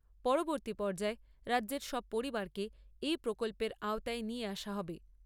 পরবর্তী পর্যায়ে রাজ্যের সব পরিবারকে এই প্রকল্পের আওতায় নিয়ে আসা হবে।